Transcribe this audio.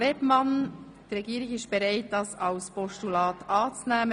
Die Regierung ist bereit, diese als Postulat anzunehmen.